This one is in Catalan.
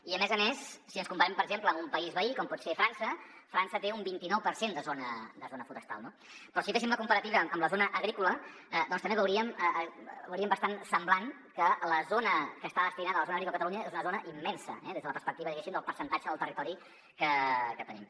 i a més a més si ens comparem per exemple amb un país veí com pot ser frança frança té un vint i nou per cent de zona forestal no però si féssim la comparativa amb la zona agrícola doncs també ho veuríem bastant semblant que la zona que està destinada a la zona agrícola de catalunya és una zona immensa eh des de la perspectiva diguéssim del percentatge del territori que tenim